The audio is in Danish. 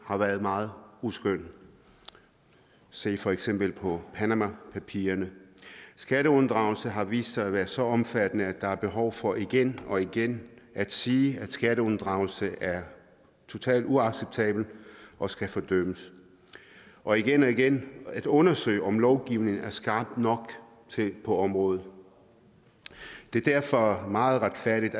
har været meget uskønne se for eksempel på panamapapirerne skatteunddragelser har vist sig at være så omfattende at der er behov for igen og igen at sige at skatteunddragelse er totalt uacceptabelt og skal fordømmes og igen og igen at undersøge om lovgivningen er skarp nok på området det er derfor meget retfærdigt